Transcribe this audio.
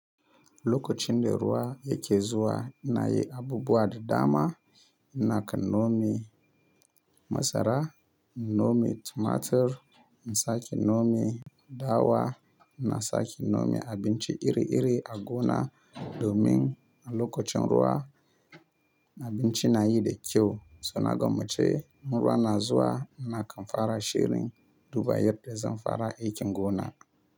Lokacin da ruwa yake zuwa ina yi abubuwa da dama. Ina kan nome masara, nome tumatir, na saki nome dawa, na saki nome abinci iri iri a gona domin a lokacin ruwa abinci nayi da kyau. So na gwammace in ruwa na zuwa ina kan fara shirin duba yadda zan fara aikin gona.